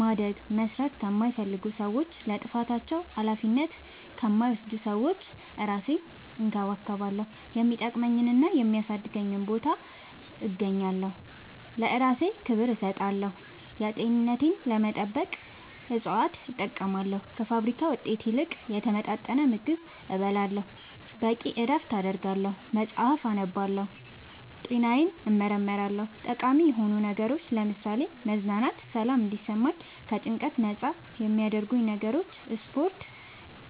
ማደግ መስራት ከማይፈልጉ ሰዎች ለጥፋታቸው አላፊነት ከማይወስዱ ሰዎች እራሴን እንከባከባለሁ የሚጠቅመኝና የሚያሳድገኝ ቦታ እገኛለሁ ለእራሴ ክብር እሰጣለሁ ጤንነቴን ለመጠበቅ እፅዋት እጠቀማለሁ ከፋብሪካ ውጤት ይልቅ የተመጣጠነ ምግብ እበላለሁ በቂ እረፍት አደርጋለሁ መፅአፍ አነባለሁ ጤናዬን እመረመራለሁ ጠቃሚ የሆኑ ነገሮች ለምሳሌ መዝናናት ሰላም እንዲሰማኝ ከጭንቀት ነፃ የሚያረጉኝ ነገሮች ስፓርት